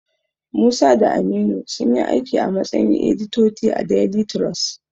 Musa da Aminu sunyi aiki a matsayin editoti a daili tirus.